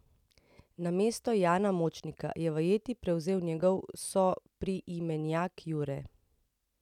Namesto Jana Močnika je vajeti prevzel njegov sopriimenjak Jure.